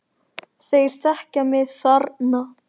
Þeir þekkja mig þarna.